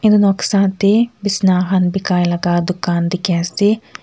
etu noksa teh bisna khan bikai laga dukan dikhi ase.